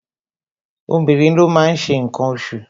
Obìnrin ló máa ń ṣe ǹkan oṣù